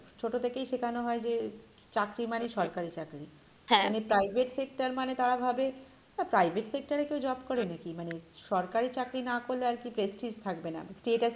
ছোট থেকেই শেখানো হয় যে চাকরি মানে সরকারি চাকরি মানে private sector মানে তারা ভাবে private sector এ কেও job করে নাকী মানে সরকারি চাকরি না করলে আরকি prestige থাকবে না, status